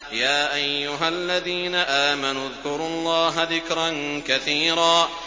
يَا أَيُّهَا الَّذِينَ آمَنُوا اذْكُرُوا اللَّهَ ذِكْرًا كَثِيرًا